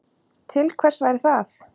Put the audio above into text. Til hvers væri það?